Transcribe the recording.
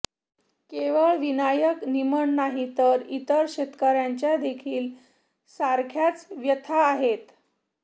केवळ विनायक निमण नाही तर इतर शेतकऱ्यांच्या देखील सारख्याच व्यथा आहेत